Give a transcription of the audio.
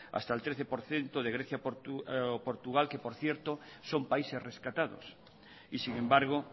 hasta el trece por ciento de grecia o portugal que por cierto son países rescatados y sin embargo